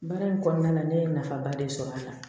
Baara in kɔnɔna na ne ye nafaba de sɔrɔ a la